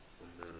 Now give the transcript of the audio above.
umberego